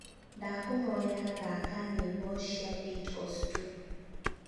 ndakūhoya thaka nyīmbo cia Beatles tu